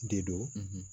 Dedo